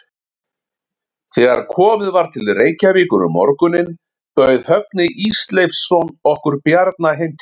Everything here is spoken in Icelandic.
Þegar komið var til Reykjavíkur um morguninn bauð Högni Ísleifsson okkur Bjarna heim til sín.